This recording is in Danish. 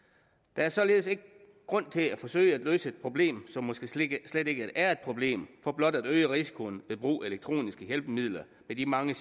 der er således ikke grund til at forsøge at løse et problem som måske slet ikke slet ikke er et problem for blot at øge risikoen ved brug af elektroniske hjælpemidler med de mange